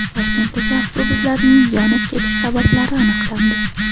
Toshkentdagi avtobuslarning yonib ketish sabablari aniqlandi.